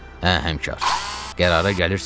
“Əh həmkar, qərara gəlirsiz?